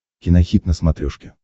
кинохит на смотрешке